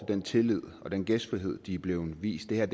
den tillid og den gæstfrihed de er blevet vist det her